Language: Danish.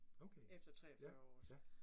Okay. Ja, ja